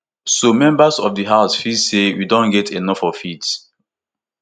so members of di house feel say we don get enof of rt